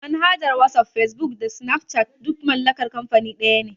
Manhajar wasaf, fesbuk da sinafcat duk mallakar kanfani daya ne